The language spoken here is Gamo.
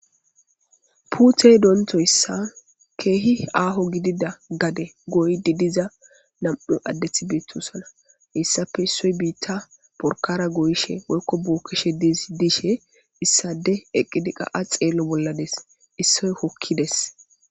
puutey dontoyssa keehi aaho gidida gade goydi diza nam7u addethi beettusana hissafe issoy biitta borkara goyishe woykko bookkishe didishe issade eqqidi qa7a xeello bollades issoy hokkides